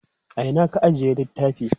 a Ina ka ajiye littafi?